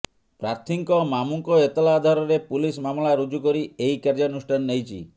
ପ୍ରାର୍ଥୀଙ୍କ ମାମୁଙ୍କ ଏତଲା ଆଧାରରେ ପୁଲିସ୍ ମାମଲା ରୁଜୁ କରି ଏହି କାର୍ଯ୍ୟାନୁଷ୍ଠାନ ନେଇଛି